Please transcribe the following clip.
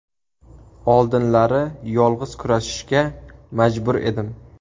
Oldinlari yolg‘iz kurashishga majbur edim.